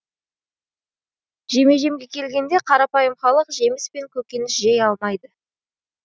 жеме жемге келгенде қарапайым халық жеміс пен көкөніс жей алмайды